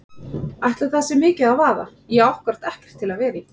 Ætli það sé mikið að vaða, ég á ákkúrat ekkert til að vera í.